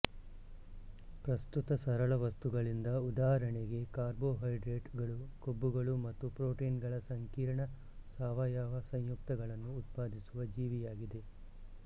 ಪ್ರಸ್ತುತ ಸರಳ ವಸ್ತುಗಳಿಂದ ಉದಾಹರಣೆಗೆ ಕಾರ್ಬೋಹೈಡ್ರೇಟ್ ಗಳು ಕೊಬ್ಬುಗಳು ಮತ್ತು ಪ್ರೋಟಿನ್ಗಳ ಸಂಕೀರ್ಣ ಸಾವಯವ ಸಂಯುಕ್ತಗಳನ್ನು ಉತ್ಪಾದಿಸುವ ಜೀವಿಯಾಗಿದೆ